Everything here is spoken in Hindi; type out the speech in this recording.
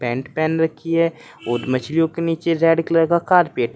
पैंट पेहन रखी है और मछलियों के नीचे रेड कलर का कारपेट --